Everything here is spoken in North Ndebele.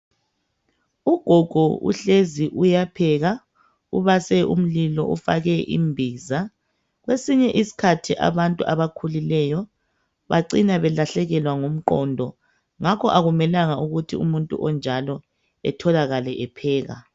Ugogo uhlezi uyapheka ubase imlilo ufakwe imbiza. Kwesinye isikhathi abantu abakhulileyo bacina belahlekelwa ngumqondo. Ngakho akumelanga ukuthi umuntu onjalo atholakale epheka.